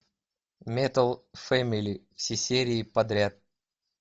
метал фэмили все серии подряд